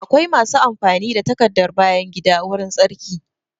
Akwai masu amfani da takardar bayan gida wurin tsarki